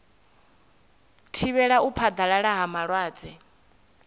thivhela u phaḓalala ha malwadze